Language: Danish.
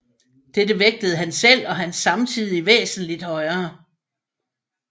Dette vægtede han selv og hans samtidige væsentligt højere